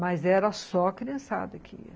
Mas era só a criançada que ia.